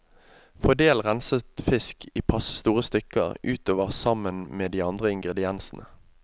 Fordel renset fisk i passe store stykker utover sammen med de andre ingrediensene.